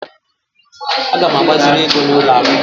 Aga m agbaziri ego n'ụlọ akụ